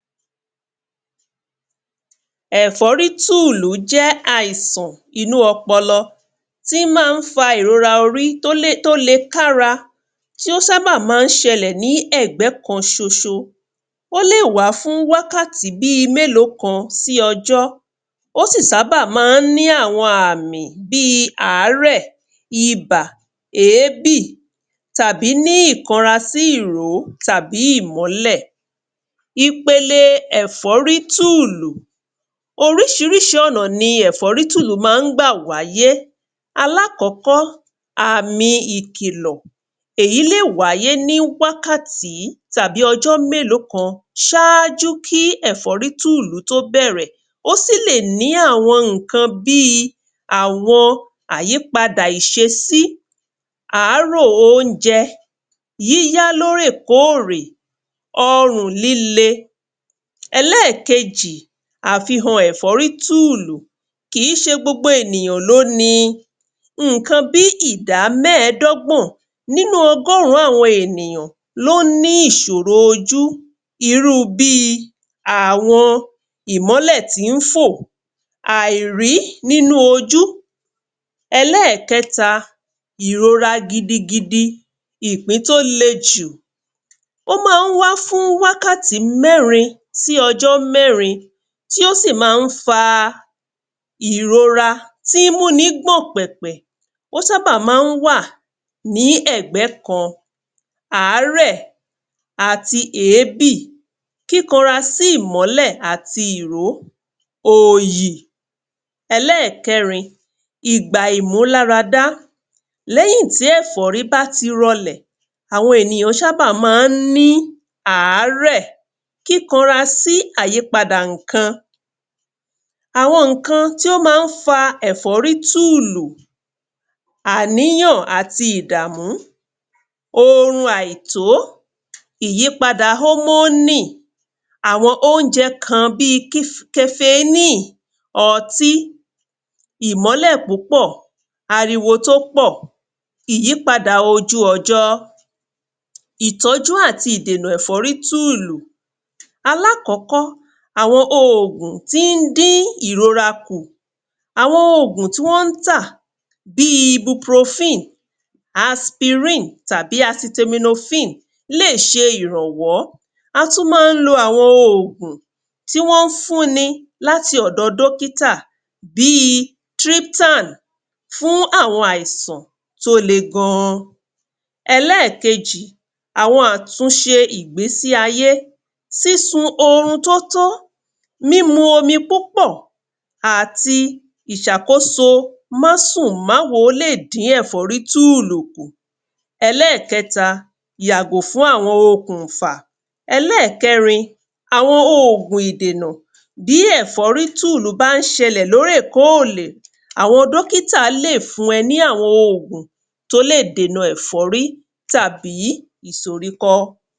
Ẹ̀fọ́rítùlù jẹ́ àìsàn inú ọpọlọ, tí ma ń fa ìrora orí tó lè, tó le ká ra. Tí ó ń ṣábà má ń ṣẹlẹ̀ ní ẹ̀gbẹ́ kan ṣoṣo. Ó lè wá fún wákàtí bíi mélòó kan sí ọjọ́. Ó ṣì ṣábà má ń ní àwọn àmì bíi àárẹ̀, ibà, èébì tàbí ní ìkanra sí ìró àbí ìmọ́lẹ̀. Ipele ẹ̀fọ́rítùlù, oríṣiríṣi ọ̀nà ni ẹ̀fọ́rítùlù ma ń gbà wáyé, aláàkọ́kọ́, àmi ìkìlọ̀, èyí lè wáyé ní wákàtí tàbí ọjọ́ mélòó kan ṣájú kí ẹ̀fọ́rítùlù tó bẹ̀rẹ̀. Ó sì lè ní àwọn ǹkan bíi àwọn àyípadà ìṣesí, àárò oúnjẹ, yíyá lóòrè kóòrè, ọrùn líle. Ẹlẹ́ẹ̀kejì, àfihàn ẹ̀fọ́rítùlù, kìí ṣe gbogbo ènìyàn ló ni, ǹkan bí ìdá mẹ́rindínlọ́gbọ̀n nínu ọgọ́rùn-ún àwọn ènìyàn ló ní ìṣòro ojú, irúu bíi àwọn ìmọ́lẹ̀ tí ń fò, àìrí nínu ojú. Ẹlẹ́ẹ̀kẹta, ìrora gidigidi, ìpín tó le jù, ó ma ń wá fún wákàtí mẹ́rin, sí ọjọ́ mẹ́rin, tí ó sì má ń fa ìrora tí ń mú ni gbọ́n-ọ̀n pẹ̀pẹ̀, ó ń ṣábà má ń wà ní ẹ̀gbẹ́ kan, àárẹ̀ àti èébì, kíkanra sí ìmọ́lẹ̀ àti ìró òyì. Ẹlẹ́ẹ̀kẹrin, ìgbà ìmúláradá, lẹ́yìn tí ẹ̀fọ́rí bá ti rọlẹ̀, àwọn ènìyàn ṣábà má ń ní àárẹ, kíkanra sí ìyípadà ǹkan. Àwọn ǹkan tí ó má n fa ẹ̀fọ́rítùlù; àníyàn àti ìdàmú, orun àìtó, ìyípadà ómónì, àwọn oúnjẹ kan bíi kefeníì, ọtí, ìmọ́lẹ̀ púpọ̀, ariwo tó pọ̀, ìyípadà ojú ọjọ́. Ìtọ́jú àti ìdènà ẹ̀fọ́rítùlù, aláàkọ́kọ́, àwọn ògùn tí ń dín ìrora kù, àwọn ògùn tí wọ́n tà bíi Ibuprofen, Aspirin tàbí Acetaminophen, léè ṣe ìrànwọ́, a tún ma ń lo àwọn ògùn tí wọ́n fún ni láti ọ̀dọ dókítà, bíi Triptan, fún àwọn àìsàn tó le gan. Ẹlẹ́ẹ̀kejì, àwọn àtúnṣe ìgbésíayé, sísun orun tó tó, mímu omi púpọ̀ àti ìṣàkóso má sùn, má wólẹ̀ díẹ̀ ẹ̀fọ́rítùlù. Ẹlẹ́ẹ̀kẹta, yàgò fún àwọn okùnfà. Ẹlẹ́ẹ̀kẹrin, àwọn ògùn ìdènà, bí ẹ̀fọ́rítùlù bá ń ṣẹlẹ̀ lórèkórè, àwọn dókítà léè fún ẹ ní àwọn ògùn tó lẹ̀ dènà ẹ̀fọ́rí tàbí ìsọ́ríkọ́.